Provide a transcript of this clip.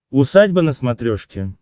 усадьба на смотрешке